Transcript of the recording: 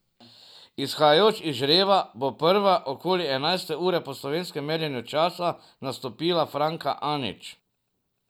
Izhajajoč iz žreba, bo prva, okoli enajste ure po slovenskem merjenju časa, nastopila Franka Anić.